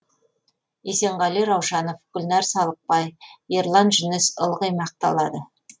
есенғали раушанов гүлнәр салықбай ерлан жүніс ылғи мақталады